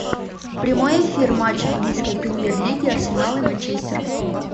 прямой эфир матч английской премьер лиги арсенал и манчестер